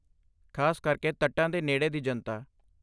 ਖਾਸ ਕਰਕੇ ਤੱਟਾਂ ਦੇ ਨੇੜੇ ਦੀ ਜਨਤਾ।